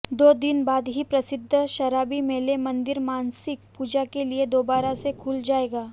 दो दिन बाद ही प्रसिद्ध शबरीमलै मंदिर मासिक पूजा के लिए दोबारा से खुल जाएगा